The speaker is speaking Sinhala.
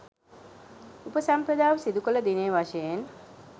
උපසම්පදාව සිදු කළ දිනය වශයෙන්